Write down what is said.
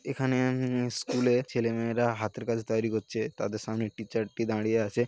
এখানে আ-ম-হ স্কুলে ছেলে মেয়েরা হাতের কাজ তৈরি করছে। তাদের সামনে টিচারটি দাঁড়িয়ে আছে।